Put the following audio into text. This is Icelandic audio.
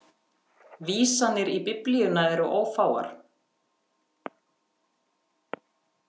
Vísanir í Biblíuna eru ófáar.